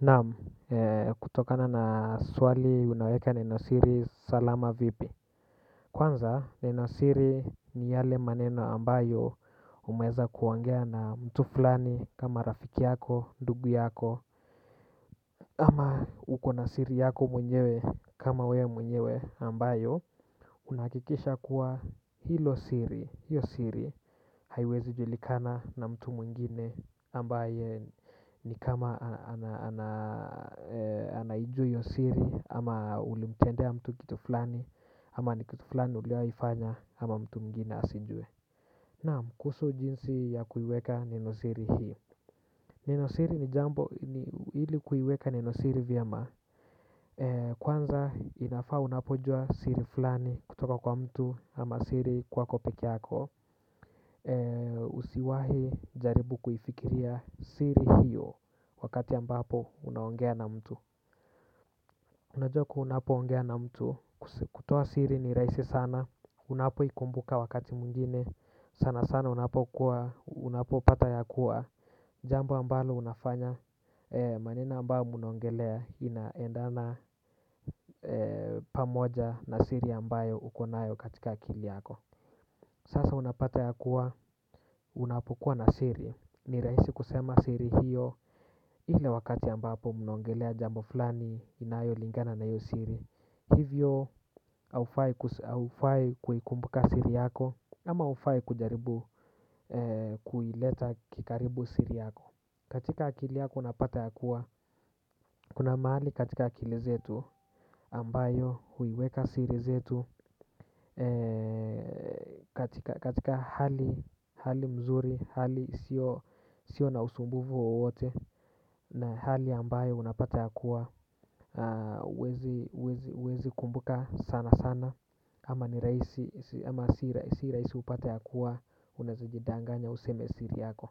Naam kutokana na swali unaweka nenosiri salama vipi. Kwanza nenosiri ni yale maneno ambayo umeeza kuongea na mtu fulani kama rafiki yako, ndugu yako. Ama uko na siri yako mwenyewe kama we mwenyewe ambayo unahakikisha kuwa hilo siri, hiyo siri haiwezi julikana na mtu mwengine ambaye ni kama anaijua hiyo siri ama ulimtendea mtu kitu flani. Ama ni kitu flani ulioifanya ama mtu mwengine asijue. Naam kuhusu jinsi ya kuiweka neno siri hii. Nenosiri ni jambo ili kuiweka nenosiri vyema. Kwanza inafaa unapojua siri fulani kutoka kwa mtu ama siri kwako peke yako. Usiwahi jaribu kufikiria siri hiyo wakati ambapo unaongea na mtu. Unajua kuwa unapoongea na mtu kutoa siri ni rahisi sana. Unapoikumbuka wakati mwingine sana sana unapokuwa unapopata ya kuwa jambo ambalo unafanya maneno ambayo mnaongelea inaendana pamoja na siri ambayo uko nayo katika akili yako. Sasa unapata ya kuwa unapokua na siri. Ni rahisi kusema siri hiyo ile wakati ambapo mnaongelea jambo flani inayolingana na hiyo siri. Hivyo haufai kuikumbuka siri yako ama haufai kujaribu kuileta kikaribu siri yako. Katika akili yako unapata ya kuwa, kuna mahali katika akili zetu ambayo huiweka siri zetu. Katika hali mzuri, hali sio na usumbuvu wowote na hali ambayo unapata ya kuwa huwezi kumbuka sana sana ama ni rahisi, ama si rahisi upate ya kuwa unaeza jidanganya useme siri yako.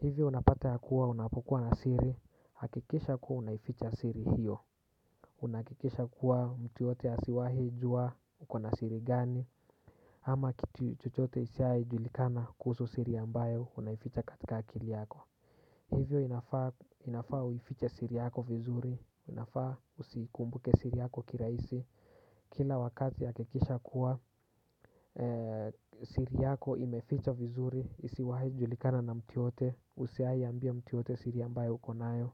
Hivyo unapata ya kuwa unapokuwa na siri, hakikisha kuwa unaificha siri hiyo. Unahakikisha kuwa mtu yoyote asiwahi jua uko na siri gani. Ama kitu chochote isiai julikana kuhusu siri ambayo unaificha katika akili yako. Hivyo inafaa uifiche siri yako vizuri, inafaa usiikumbuke siri yako kiraisi. Kila wakati hakikisha kuwa siri yako imefichwa vizuri, isiwahi julikana na mtu yoyote. Usiai ambia mtu yoyote siri ambayo uko nayo.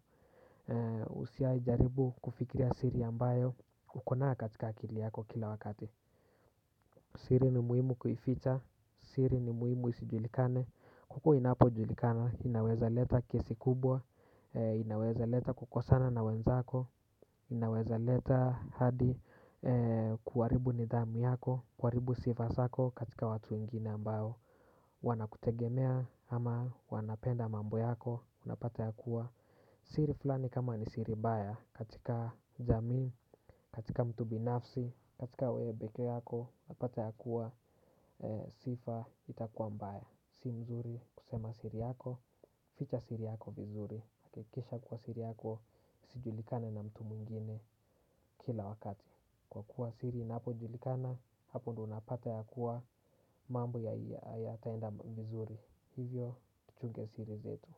Usiai jaribu kufikiria siri ambayo uko nayo katika akili yako kila wakati. Siri ni muhimu kuificha. Siri ni muhimu isijulikane huku inapojulikana. Inaweza leta kesi kubwa. Inaweza leta kukosana na wenzako. Inaweza leta hadi kuharibu nidhamu yako. Kuharibu sifa zako katika watu wengine ambayo wanakutegemea ama wanapenda mambo yako. Unapata ya kuwa siri fulani kama ni siri mbaya. Katika jamii, katika mtu binafsi, katika wewe peke yako. Unapata ya kuwa sifa itakuwa mbaya. Si mzuri kusema siri yako, ficha siri yako mzuri. Hakikisha kuwa siri yako, isijilikane na mtu mwengine kila wakati. Kwa kuwa siri inapojulikana, hapo unapata ya kuwa mambo yataenda mzuri. Hivyo, tuchunge siri zetu.